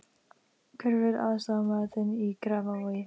Hver verður aðstoðarmaður þinn í Grafarvogi?